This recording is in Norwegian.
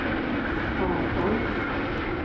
avfall